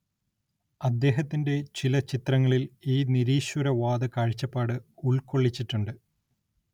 അദ്ദേഹത്തിന്റെ ചില ചിത്രങ്ങളിൽ ഈ നിരീശ്വരവാദ കാഴ്ചപ്പാട് ഉൾക്കൊള്ളിച്ചിട്ടുണ്ട്.